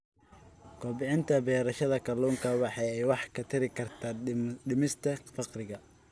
Kobcinta beerashada kalluunka waxa ay wax ka tari kartaa dhimista faqriga.